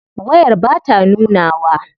Wayar bata nunawa.